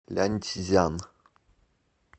ляньцзян